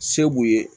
Se b'u ye